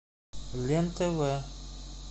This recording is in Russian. лен тв